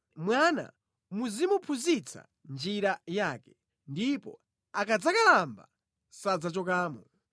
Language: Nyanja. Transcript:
Mwana muzimuphunzitsa njira yake, ndipo akadzakalamba sadzachokamo.